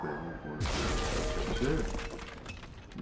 Pegou quando a.